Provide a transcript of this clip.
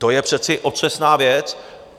To je přece otřesná věc.